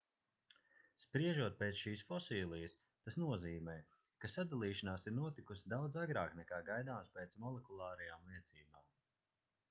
spriežot pēc šīs fosilijas tas nozīmē ka sadalīšanās ir notikusi daudz agrāk nekā gaidāms pēc molekulārajām liecībām